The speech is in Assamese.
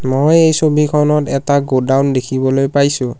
মই এই ছবিখনত এটা গুদাউন দেখিবলৈ পাইছোঁ।